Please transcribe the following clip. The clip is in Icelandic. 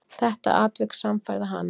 Þetta atvik sannfærði hana.